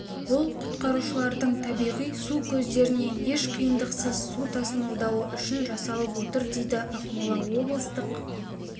бұл құтқарушылардың табиғи су көздерінен еш қиындықсыз су тасымалдауы үшін жасалып отыр дейді ақмола облыстық